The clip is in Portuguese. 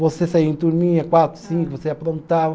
Você saía em turminha, quatro, cinco, você aprontava.